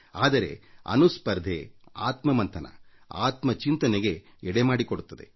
ಆದರೆ ಅನುಸ್ಪರ್ಧೆ ಆತ್ಮ ಮಂಥನ ಆತ್ಮ ಚಿಂತನೆಗೆ ಎಡೆಮಾಡಿಕೊಡುತ್ತದೆ